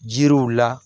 Jiriw la